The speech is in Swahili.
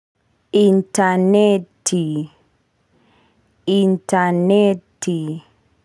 Interneti interneti.